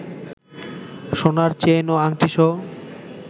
সোনার চেইন ও আংটিসহ